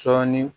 Sɔɔni